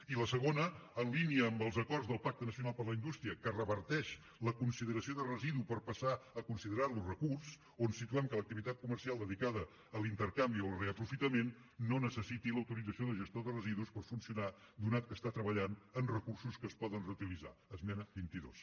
i la segona en línia amb els acords del pacte nacional per a la indústria que reverteix la consideració de residu per passar a considerar lo recurs on situem que l’activitat comercial dedicada a l’intercanvi o al reaprofitament no necessiti l’autorització de gestió de residus per funcionar donat que està treballant amb recursos que es poden reutilitzar esmena vint dos